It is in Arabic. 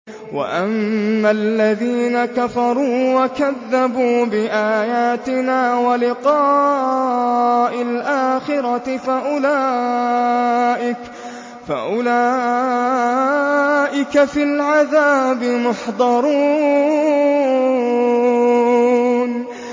وَأَمَّا الَّذِينَ كَفَرُوا وَكَذَّبُوا بِآيَاتِنَا وَلِقَاءِ الْآخِرَةِ فَأُولَٰئِكَ فِي الْعَذَابِ مُحْضَرُونَ